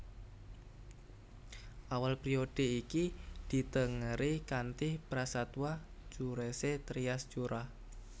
Awal périodhe iki ditengeri kanthi prastawa curesé Trias Jura